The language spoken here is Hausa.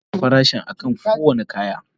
Ana rubuta farashin akan kowane kaya.